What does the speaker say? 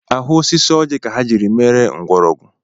Ahụ osisi ọji ka a jiri mere mgbọrọgwụ